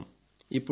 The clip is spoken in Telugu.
స్మారకం